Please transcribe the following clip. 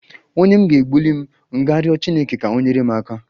Onye m ga-egbuli m ga-riọ chineke ka ọ nyere m aka?